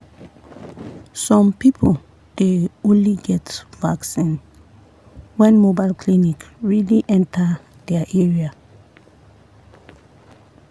some people dey only get vaccine when mobile clinic really enter their area.